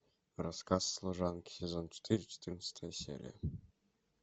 рассказ служанки сезон четыре четырнадцатая серия